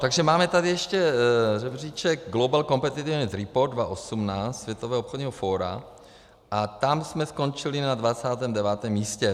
Takže máme tady ještě žebříček Global Competitiveness Report 2018, Světového obchodního fóra, a tam jsme skončili na 29. místě.